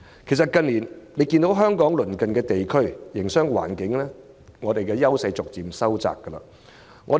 其實大家也看到，相比鄰近地區，香港近年在營商環境上的優勢逐漸收窄。